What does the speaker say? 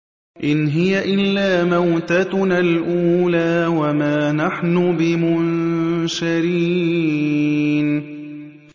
إِنْ هِيَ إِلَّا مَوْتَتُنَا الْأُولَىٰ وَمَا نَحْنُ بِمُنشَرِينَ